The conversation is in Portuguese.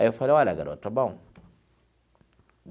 Aí eu falei, olha, garoto, está bom.